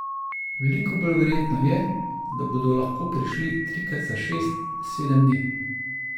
Veliko bolj verjetno je, da bodo lahko prišli trikrat za šest, sedem dni.